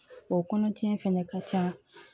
O kɔnɔtiɲɛ fɛnɛ ka ca